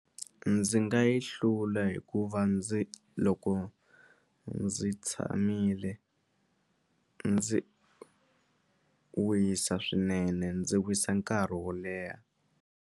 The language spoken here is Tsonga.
Ndzi nga yi hlula hikuva ndzi loko ndzi tshamile ndzi wisa swinene ndzi wisa nkarhi wo leha.